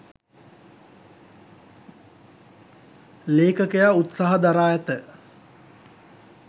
ලේඛකයා උත්සාහ දරා ඇත.